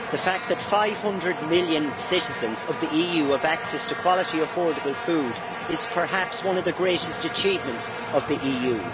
The fact that 500 million citizens of the EU have access to quality, affordable food is perhaps one of the greatest achievements of the EU.